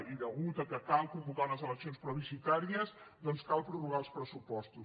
i a causa que cal convocar unes eleccions plebiscitàries cal prorrogar els pressupostos